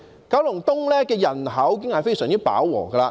九龍東的人口已經非常飽和。